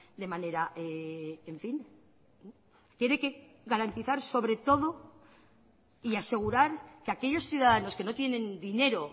de manera en fin tiene que garantizar sobre todo y asegurar que aquellos ciudadanos que no tienen dinero